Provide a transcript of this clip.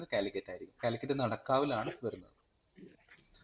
കാലിക്കറ്റായിരിക്കും. കാലിക്കറ്റ് നടക്കാവിലാണ് വരുന്നത്